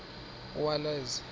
uwaleza